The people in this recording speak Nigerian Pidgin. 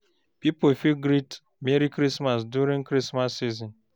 Pipo fit greet "merry Christmas" during christmas season